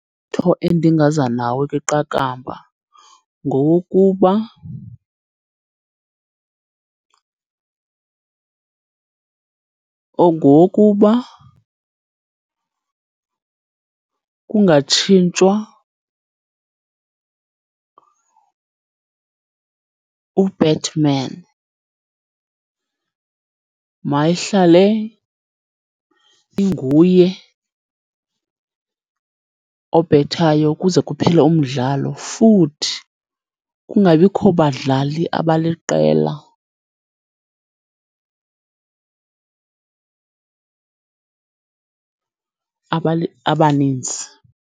endingaza nawo kwiqakamba ngowokuba ngowokuba kungatshintshwa u-batman. Mayihlale inguye obhethayo kuze kuphele umdlalo, futhi kungabikho badlali abaliqela abaninzi.